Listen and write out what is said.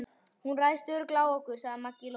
Hún ræðst örugglega á okkur, sagði Maggi Lóu.